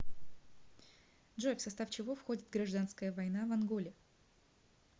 джой в состав чего входит гражданская война в анголе